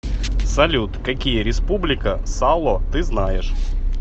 салют какие республика сало ты знаешь